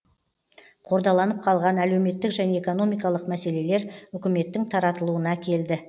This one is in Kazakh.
қордаланып қалған әлеуметтік және экономикалық мәселелер үкіметтің таратылуына әкелді